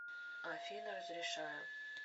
афина разрешаю